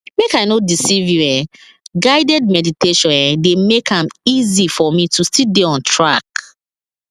make i no deceive you[um]guided meditation eh dey make am easy for me to still dey on track